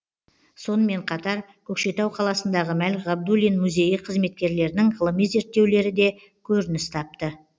сонымен қатар көкшетау қаласындағы мәлік ғабдуллин музейі қызметкерлерінің ғылыми зерттеулері де көрініс тапты